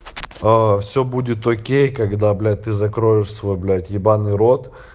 все будет окей когда блять ты закроешь свой блять ебаный рот